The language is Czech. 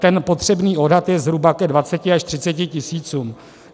Ten potřebný odhad je zhruba ke 20 až 30 tisícům.